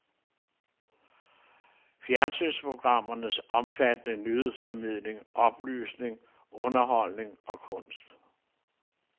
Fjernsynsprogrammerne omfattende nyhedsformidling, oplysning, underholdning og kunst.